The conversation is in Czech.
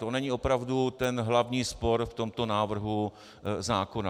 To není opravdu ten hlavní spor v tomto návrhu zákona.